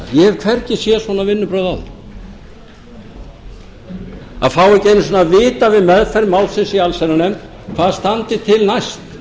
hef hvergi séð svona vinnubrögð áður að fá ekki einu sinni að vita við meðferð málsins í allsherjarnefnd hvað standi til næst